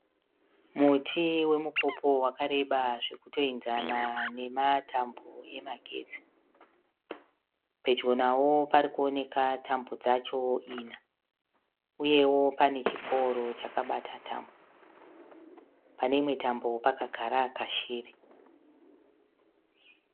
Muti wemupopo wakareba zvekutoenzana nematambo emagetsi. Pedyo nawo parikuoneka tambo dzacho, ina. Uyewo, pane chipouro chakabata tambo, pane imwe tambo pakagara kashiri.